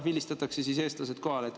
Vilistatakse siis eestlased kohale.